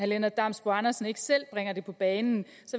lennart damsbo andersen ikke selv bringer det på bane